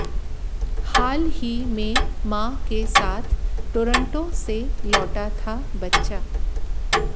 हाल ही में मां के साथ टोरंटो से लौटा था बच्चा